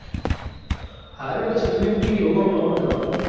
હારું હેડ કોક નામ છે દવા નું.